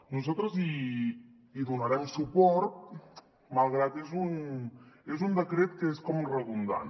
nosaltres hi donarem suport malgrat que és un decret que és com redundant